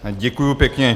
Děkuji pěkně.